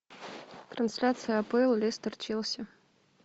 трансляция апл лестер челси